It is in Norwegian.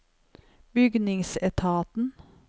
bygningsetaten